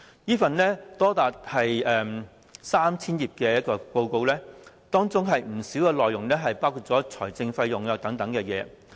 這份長達 3,000 頁的報告，當中不少內容涉及財政費用等資料。